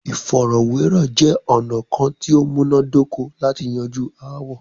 Ìfọ̀rọ̀wérọ̀ jẹ́ ọ̀nà kán tí o múná dóko lati yanju aáwọ̀.